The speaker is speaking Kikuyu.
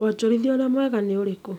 Wanjorithia urĩa mwega nĩ ũrĩkũ